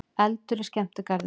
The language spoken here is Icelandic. Eldur í skemmtigarði